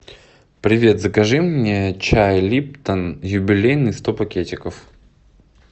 привет закажи мне чай липтон юбилейный сто пакетиков